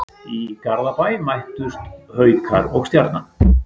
Í Garðabæ mættust Haukar og Stjarnan.